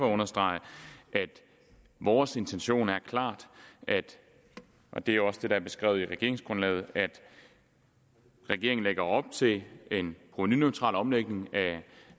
at understrege at vores intention er klart og det er jo også det der er beskrevet i regeringsgrundlaget at regeringen lægger op til en provenuneutral omlægning af